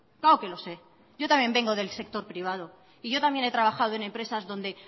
claro que lo sé yo también vengo del sector privado y yo también he trabajo en empresas donde